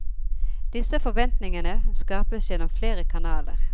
Disse forventningene skapes gjennom flere kanaler.